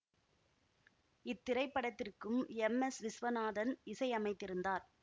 இத்திரைப்படத்திற்கு M S Viswanathan இசையமைத்திருந்தார்